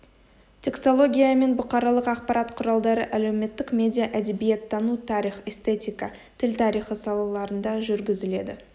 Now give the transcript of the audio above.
текстологиямен бұқаралық ақпарат құралдары әлеуметтік медиа әдебиеттану тарих эстетика тіл тарихы салаларында жүргізіледі